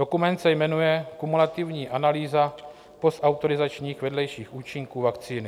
Dokument se jmenuje Kumulativní analýza postautorizačních vedlejších účinků vakcíny.